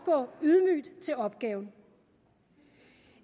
og til opgaven